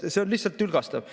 See on lihtsalt tülgastav.